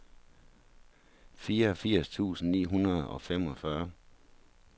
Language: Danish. fireogfirs tusind ni hundrede og femogfyrre